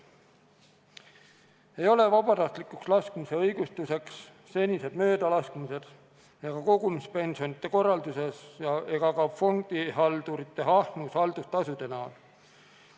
Samba vabatahtlikuks laskmist ei õigusta senised möödalaskmised, kogumispensionide korraldus ega fondihaldurite ahnus haldustasude võtmisel.